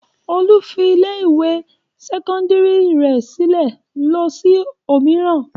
Olú fi ilé-ìwé sẹ́kọ́ndárì rẹ̀ sílẹ̀ lọ sí òmíràn.